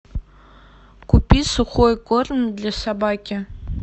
купи сухой корм для собаки